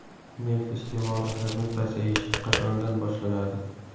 Neft iste’moli hajmi pasayishi qachondan boshlanadi ?